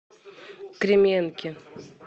кременки